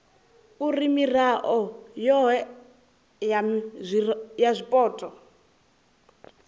uri mirao yohe ya zwipotso